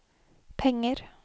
penger